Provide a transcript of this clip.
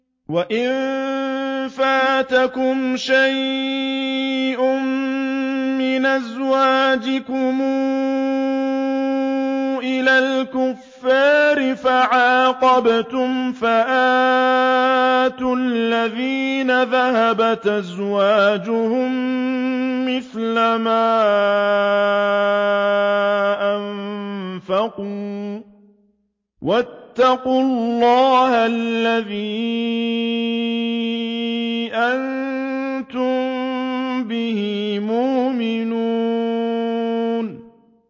وَإِن فَاتَكُمْ شَيْءٌ مِّنْ أَزْوَاجِكُمْ إِلَى الْكُفَّارِ فَعَاقَبْتُمْ فَآتُوا الَّذِينَ ذَهَبَتْ أَزْوَاجُهُم مِّثْلَ مَا أَنفَقُوا ۚ وَاتَّقُوا اللَّهَ الَّذِي أَنتُم بِهِ مُؤْمِنُونَ